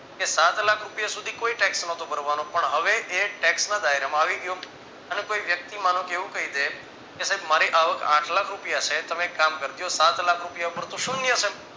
કે સાતલાખ રૂપિયા સુધી કોઈ tax નોટો ભરવાનો પણ હવે એ tax ના ધયરમાં આવી ગયો અને કોઈ વ્યક્તિ માનો કે એવું કઈ દે કે સાહેબ મારી આવક આઠલાખ રૂપિયા છે તમે એક કામ કરજો સાતલાખ રૂપિયા પર તો શૂન્ય છે